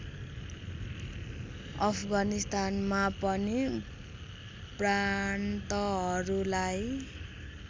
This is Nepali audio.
अफगानिस्तानमा पनि प्रान्तहरूलाई